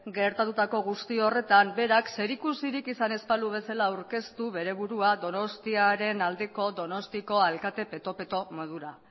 gertatutako guzti horretan berak zerikusirik izan ez balu bezala aurkeztu bere burua donostiaren aldeko donostiako alkate peto peto modura